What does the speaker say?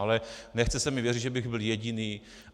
Ale nechce se mi věřit, že bych byl jediný.